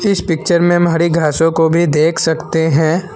इस पिक्चर में हम हरी घासो को भी देख सकते हैं।